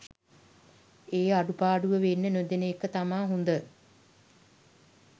ඒ අඩුපාඩුව වෙන්න නොදෙන එක තමා හොඳ.